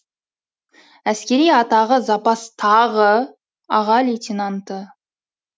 әскери атағы запастағы аға лейтенанты